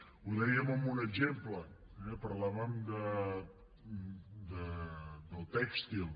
ho dèiem amb un exemple eh parlàvem del tèxtil